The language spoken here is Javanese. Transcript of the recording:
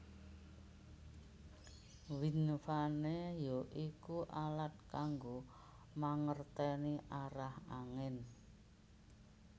Wind vane ya iku alat kanggo mangerténi arah angin